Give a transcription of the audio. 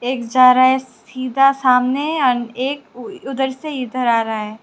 एक जा रहा है सीधा सामने और एक उधर से इधर आ रहा है।